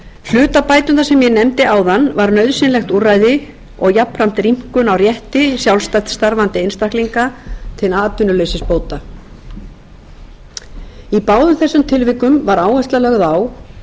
hlutabæturnar sem ég nefndi áðan var nauðsynlegt úrræði og jafnframt rýmkun á rétti sjálfstætt starfandi einstaklinga til atvinnuleysisbóta í báðum þessum tilvikum var áhersla lögð á